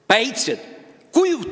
Päitsed!